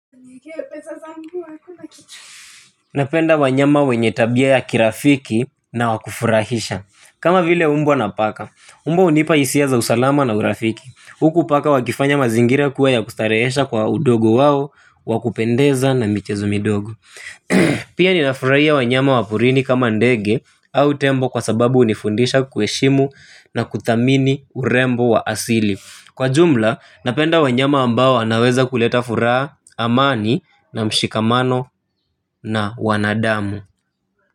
Napenda wanyama wenye tabia ya kirafiki na wakufurahisha. Kama vile umbwa na paka. Umbwa hunipa hisia za usalama na urafiki. Huku paka wakifanya mazingira kuwa ya kustarehesha kwa udogo wao wa wakupendeza na michezo midogo. Pia ninafurahia wanyama waporini kama ndege au tembo kwa sababu hunifundisha kuheshimu na kuthamini urembo wa asili. Kwa jumla, napenda wanyama ambao wanaweza kuleta furaha amani na mshikamano na wanadamu.